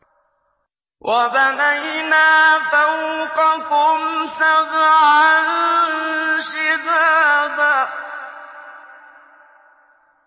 وَبَنَيْنَا فَوْقَكُمْ سَبْعًا شِدَادًا